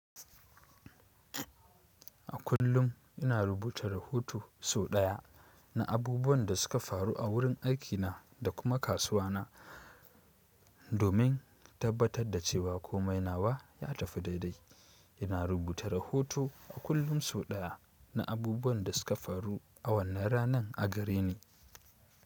A kullum ina rubuta rahoto so ɗaya. Na abubuwan da suka faru a wurin aikina, da kuma kasuwa na. Domin tabbatar da cewa komai nawa, ya tafi daidai. Ina rubuta rahoto a kullum so ɗaya, na abubuwan da suka faru a wannan ranan a gareni.